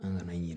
An kana ɲinɛ